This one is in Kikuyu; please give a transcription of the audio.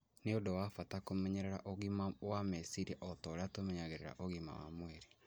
Nĩ ũndũ wa bata kũmenyerera ũgima wa meciria o ta ũrĩa tũmenyereraga ũgima wa mwĩri.